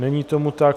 Není tomu tak.